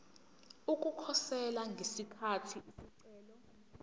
ukukhosela ngesikhathi isicelo